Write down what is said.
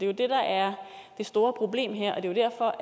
jo det der er det store problem her og det er derfor